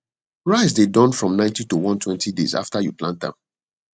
rice dey Accepted from ninety to onetwenty days after you plant am